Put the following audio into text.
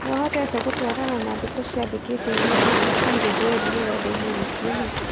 Niũhotete gũtwarana na ndeto ciandikitwe nĩ BBC gĩthweri rũrendainĩ wiki ĩno?